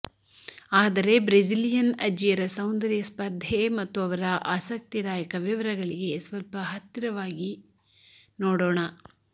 ಆದರೆ ಬ್ರೆಜಿಲಿಯನ್ ಅಜ್ಜಿಯರ ಸೌಂದರ್ಯ ಸ್ಪರ್ಧೆ ಮತ್ತು ಅವರ ಆಸಕ್ತಿದಾಯಕ ವಿವರಗಳಿಗೆ ಸ್ವಲ್ಪ ಹತ್ತಿರವಾಗಿ ನೋಡೋಣ